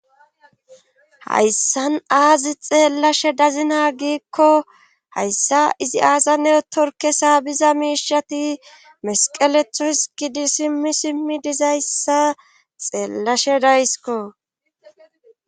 hayssan aazi xeellashe dazina giikko hayssa izi aasa neotorke sa biza miishati mesqeletho hiskidi simmi simmi dizayssa xeellashe daysiko